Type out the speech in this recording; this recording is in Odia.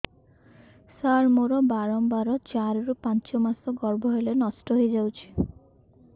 ସାର ମୋର ବାରମ୍ବାର ଚାରି ରୁ ପାଞ୍ଚ ମାସ ଗର୍ଭ ହେଲେ ନଷ୍ଟ ହଇଯାଉଛି